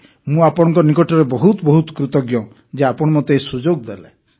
ମୁଁ ଆପଣଙ୍କ ନିକଟରେ ବହୁତ ବହୁତ କୃତଜ୍ଞ ଯେ ଆପଣ ମୋତେ ଏହି ସୁଯୋଗ ଦେଲେ